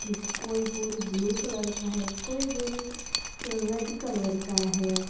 किस कोई बोड़ी ब्लू कलर का है कोई बोड़ी रेड कलर का है।